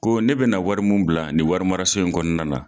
Ko ne bɛna wari min bila ni wari mara so in kɔnɔna na.